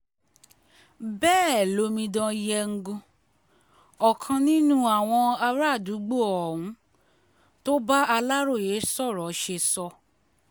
bẹ́ẹ̀ lomidan yengun ọkàn nínú àwọn àràádúgbò ohun tó bá aláròye sọ̀rọ̀ ṣe sọ